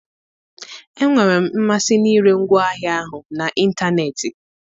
Enwere m mmasị n'ịre ngwaahịa ahụ n'ịntanetị